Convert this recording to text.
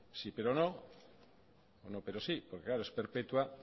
no pero sí porque claro es perpetua